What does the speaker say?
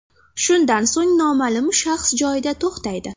Shundan so‘ng noma’lum shaxs joyida to‘xtaydi.